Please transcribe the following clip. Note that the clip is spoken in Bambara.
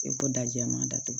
I ko dajɛ man datugu